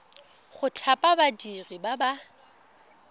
go thapa badiri ba ba